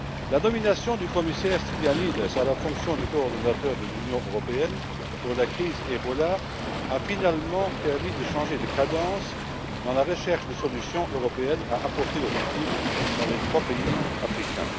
La nomination du commissaire Stylianides à la fonction de coordinateur de l'Union européenne pour la lutte contre Ebola a finalement permis de changer de cadence dans la recherche de solutions européennes à apporter aux victimes dans les trois pays africains.